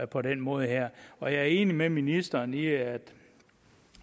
på den måde her og jeg er enig med ministeren i at